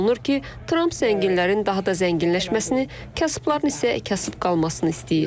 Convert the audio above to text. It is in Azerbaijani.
Olası olunur ki, Tramp zənginlərin daha da zənginləşməsini, kasıbların isə kasıb qalmasını istəyir.